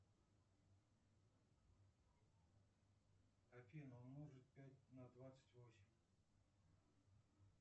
афина умножить пять на двадцать восемь